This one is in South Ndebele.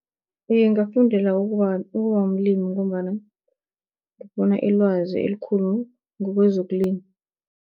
Iye, ngingafundela ukuba mlimi, ngombana ngiyokubona ilwazi elikhulu ngokwezokulima.